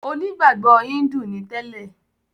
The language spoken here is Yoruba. Onígbàgbọ̀ Híńdù ni tẹ́lẹ̀.